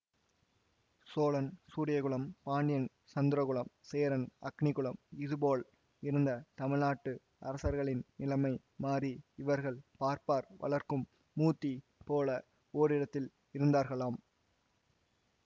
சோழன் சூரியகுலம் பாண்டியன் சந்திரகுலம் சேரன் அக்கினிக்குலம் இதுபோல் இருந்த தமிழ்நாட்டு அரசர்களின் நிலமை மாறி இவர்கள் பார்ப்பார் வளர்க்கும் முத்தீ போல ஓரிடத்தில் இருந்தார்களாம்